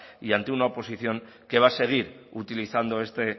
y ante una oposición que va a seguir utilizando este